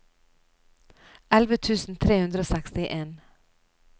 elleve tusen tre hundre og sekstien